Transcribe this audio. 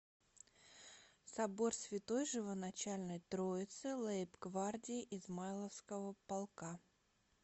собор святой живоначальной троицы лейб гвардии измайловского полка